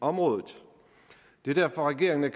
området det er derfor regeringen